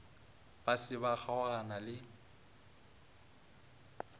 ba se ba kgaogana le